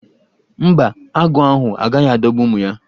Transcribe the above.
Mba, agụ́ ahụ agaghị adọgbu ụmụ ya.